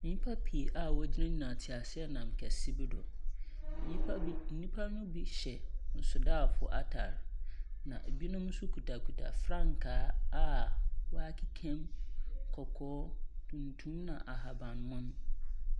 Nnipa pii a wɔgyina teaseanam kseɛ bi do. Nnipa bi nnipa no bi hyɛ nsraafo atar, na ebinom nso kutakuta frankaa a wɔakekam kɔkɔɔ, tuntum na ahaban mon.